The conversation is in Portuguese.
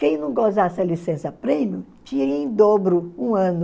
Quem não gozasse a licença-prêmio tinha em dobro um ano